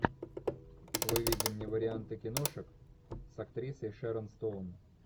выведи мне варианты киношек с актрисой шэрон стоун